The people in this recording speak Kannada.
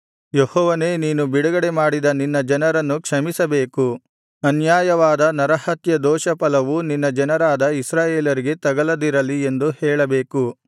ಯೆಹೋವನೇ ನೀನು ಬಿಡುಗಡೆಮಾಡಿದ ನಿನ್ನ ಜನರನ್ನು ಕ್ಷಮಿಸಬೇಕು ಅನ್ಯಾಯವಾದ ನರಹತ್ಯದೋಷ ಫಲವು ನಿನ್ನ ಜನರಾದ ಇಸ್ರಾಯೇಲರಿಗೆ ತಗಲದಿರಲಿ ಎಂದು ಹೇಳಬೇಕು